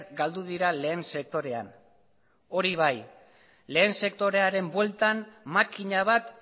galdu dira lehen sektorean hori bai lehen sektorearen bueltan makina bat